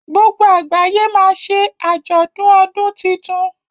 gbogbo àgbáyé ma ṣe ajọdun ọdún títún.